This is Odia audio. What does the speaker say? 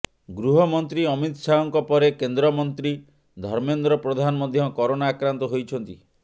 ଗୃହମନ୍ତ୍ରୀ ଅମିତ ଶାହଙ୍କ ପରେ କେନ୍ଦ୍ରମନ୍ତ୍ରୀ ଧର୍ମେନ୍ଦ୍ର ପ୍ରଧାନ ମଧ୍ୟ କରୋନା ଆକ୍ରାନ୍ତ ହୋଇଛନ୍ତି